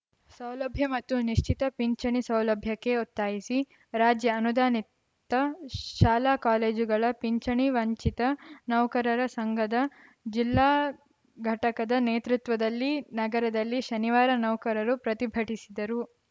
ಸೌಲಭ್ಯ ಮತ್ತು ನಿಶ್ಚಿತ ಪಿಂಚಣಿ ಸೌಲಭ್ಯಕ್ಕೆ ಒತ್ತಾಯಿಸಿ ರಾಜ್ಯ ಅನುದಾನಿತ ಶಾಲಾಕಾಲೇಜುಗಳ ಪಿಂಚಣಿ ವಂಚಿತ ನೌಕರರ ಸಂಘದ ಜಿಲ್ಲಾ ಘಟಕದ ನೇತೃತ್ವದಲ್ಲಿ ನಗರದಲ್ಲಿ ಶನಿವಾರ ನೌಕರರು ಪ್ರತಿಭಟಿಸಿದರು